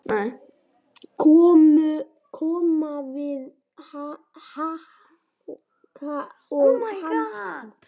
Koma við höku og hnakka.